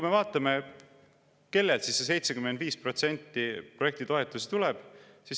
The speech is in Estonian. Vaatame, kellelt see 75% projektitoetusi tuleb.